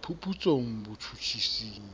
phuputsong botjhutjhising